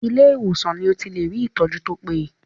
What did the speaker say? Ilé ìwòsàn lo ti lè rí ìtọ́jú tó péye.